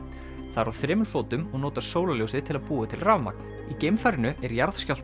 það er á fjórum fótum og notar sólarljósið til að búa til rafmagn í geimfarinu er